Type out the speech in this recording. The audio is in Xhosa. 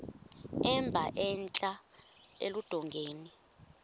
emba entla eludongeni